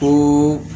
Ko